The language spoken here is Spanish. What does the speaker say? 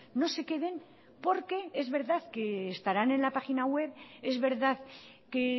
no se queden porque es verdad que estarán en la página web es verdad que